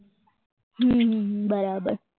હમ બરાબર